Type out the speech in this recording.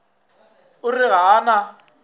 o re ga a na